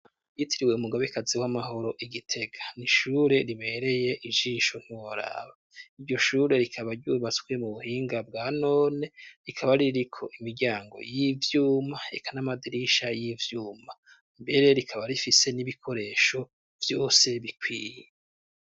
Yitiriwe mugabekazi w'amahoro igitega niishure ribereye ijisho ntiworaba iryoshure rikaba ryubatswe mu buhinga bwa none rikaba ririko imiryango y'ivyuma ekanamadirisha y'ivyuma mbere rikaba rifise n'ibikoresho byose bikwiye.